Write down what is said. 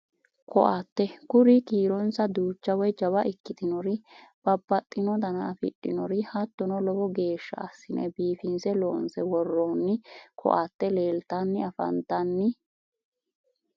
Koatte kuri kiironsa duucha woyi jawa ikkitinori babbaxxino dana afidhinori hattono lowo geeshsha assine biifinse loonse worroonni koatte leeltanni afantanni